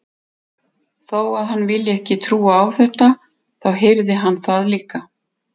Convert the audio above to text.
Þó að hann vilji ekki trúa á þetta, þá heyrði hann það líka.